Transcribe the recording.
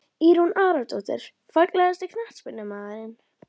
Írunn Aradóttir Fallegasti knattspyrnumaðurinn?